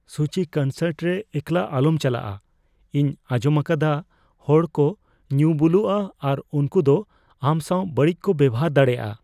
ᱥᱩᱪᱤ ᱾ ᱠᱚᱱᱥᱟᱨᱴ ᱨᱮ ᱮᱠᱞᱟ ᱟᱞᱚᱢ ᱪᱟᱞᱟᱜᱼᱟ ᱾ ᱤᱧ ᱟᱸᱡᱚᱢ ᱟᱠᱟᱫᱟ ᱦᱚᱲᱠᱚ ᱧᱩ ᱵᱩᱞᱩᱜᱼᱟ ᱟᱨ ᱩᱝᱠᱩ ᱫᱚ ᱟᱢ ᱥᱟᱶ ᱵᱟᱹᱲᱤᱡ ᱠᱚ ᱵᱮᱵᱚᱦᱟᱨ ᱫᱟᱲᱮᱭᱟᱜᱼᱟ ᱾